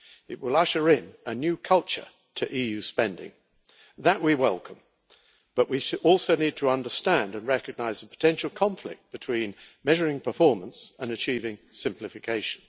It will usher in a new culture to EU spending that we welcome, but we also need to understand and recognise the potential conflict between measuring performance and achieving simplification.